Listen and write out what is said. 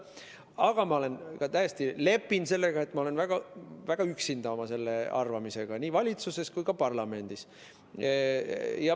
Aga ma täiesti lepin sellega, et ma olen väga üksinda oma selle arvamusega nii valitsuses kui ka parlamendis.